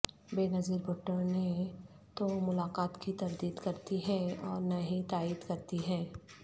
بینظیر بھٹو نہ تو ملاقات کی تردید کرتی ہیں اور نہ ہی تائید کرتی ہیں